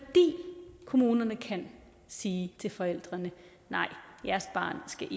kommunerne kan sige til forældrene nej jeres barn skal